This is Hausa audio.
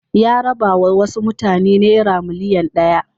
Ya rabawa wasu mutane naira miliyan ɗaya.